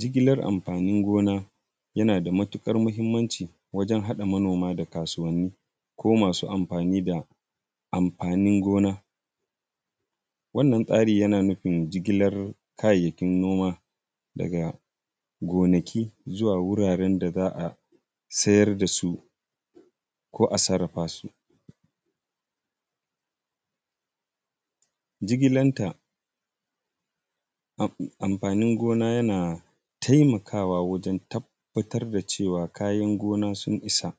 Jigilar amfanin gona yana da matuƙar muhimmanci wajen haɗa manoma da kasuwanni ko masu amfani da amfanin gona, wannan tsari yana nufin jigilar kayayyakin noma daga gonaki zuwa wuraren da za a siyar da su ko a sarrafa su. Jigilan ta amfanin gona yana taimakawa wajen tabbatar da cewa kayan gona sun isa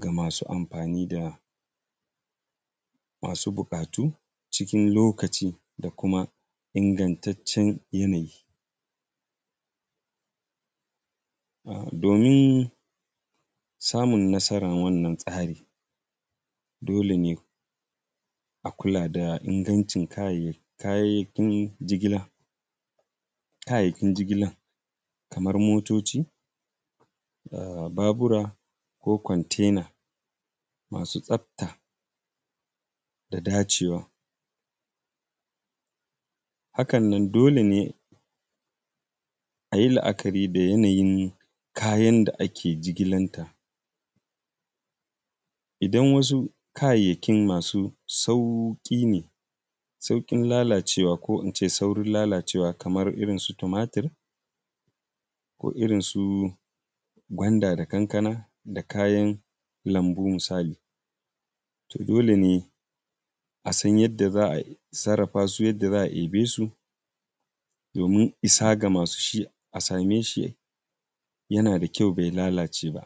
kaman amfani da masu buƙatu da kuma ingantaccen yanayi, domin samun nasaran wannan tsari dole ne a kula da ingancin kayan jigila kamar motoci, babura ko kontena masu tsafta da dacewa. Hakanan dole ne ka yi la’akari da yanayin kayan da ake jigilan ta, idan wasu kayayyakin masu sauƙi ne suna da saurin lalacewa kaman in ce irin su tumatir ko irin su gwanda da kankana da kayan lambu, misali to dole ne a san yadda za a sarrafa su yadda za a ɗebe su domin isa ga masu shi a same shi yana da kyau bai lalace ba.